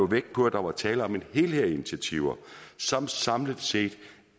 vægt på at der var tale om en helhed af initiativer som samlet set